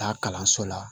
Taa kalanso la